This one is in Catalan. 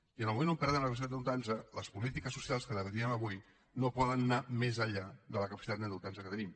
i en el moment que perdem la capacitat d’endeutar nos les polítiques socials que debatíem avui no poden anar més enllà de la capacitat d’endeutar nos que tenim